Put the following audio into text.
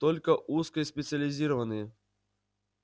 только узкоспециализированные